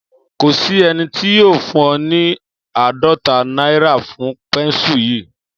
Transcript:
Kò sí ẹni tí yóò fún ọ ní àádọ́ta náírà fún pẹ́ńsù yìí